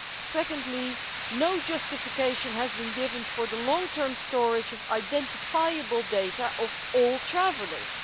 Secondly, no justification has been given for the long term storage of identifiable data of all travellers.